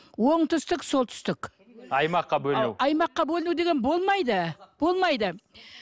оңтүстік солтүстік аймаққа бөліну аймаққа бөліну деген болмайды болмайды